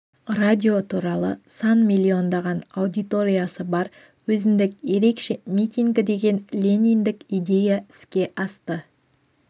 радио туралы сан миллиондаған аудиториясы бар өзіндік ерекше митингі деген лениндік идея іске асты